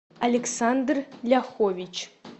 александр ляхович